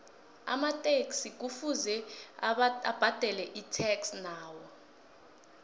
amataxi kuvuze abadele itax nawo